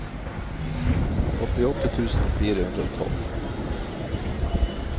åttiåtte tusen fire hundre og tolv